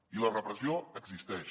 i la repressió existeix